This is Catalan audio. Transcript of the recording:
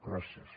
gràcies